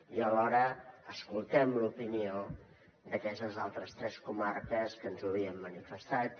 i alhora escoltem l’opinió d’aquestes altres tres comarques que ens ho havien manifestat